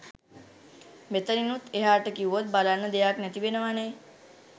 මෙතනිනුත් එහාට කිව්වොත් බලන්න දෙයක් නැති වෙනවනේ.